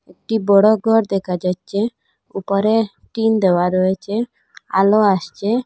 একটি বড় গর দেখা যাচ্ছে উপরে টিন দেওয়া রয়েচে আলো আসচে।